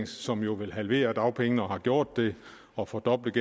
som jo vil halvere dagpengene og har gjort det og fordoblet